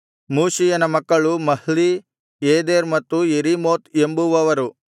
ಮೂಷೀಯನ ಮಕ್ಕಳು Mahli Eder ಮತ್ತು Jerimoth ಎಂಬುವವರು